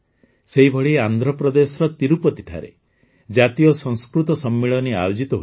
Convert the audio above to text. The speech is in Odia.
ସେହିଭଳି ଆନ୍ଧ୍ରପ୍ରଦେଶର ତିରୁପତିଠାରେ ଜାତୀୟ ସଂସ୍କୃତ ସମ୍ମିଳନୀ ଆୟୋଜିତ ହୋଇଥିଲା